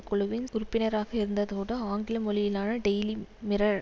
குழுவின் உறுப்பினராக இருந்ததோடு ஆங்கில மொழியிலான டெயிலி மிரர்